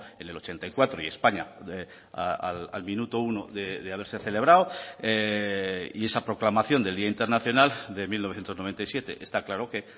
en el ochenta y cuatro y españa al minuto uno de haberse celebrado y esa proclamación del día internacional de mil novecientos noventa y siete está claro que